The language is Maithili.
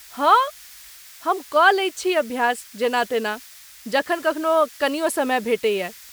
हँऽऽ, हम कऽ लै छी अभ्यास जेना तेना, जखन कखनो कनियो समय भेटैए।